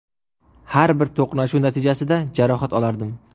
Har bir to‘qnashuv natijasida jarohat olardim.